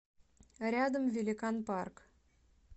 рядом великан парк